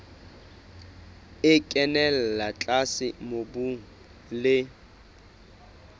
e kenella tlase mobung le